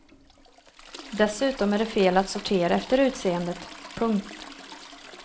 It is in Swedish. Dessutom är det fel att sortera efter utseendet. punkt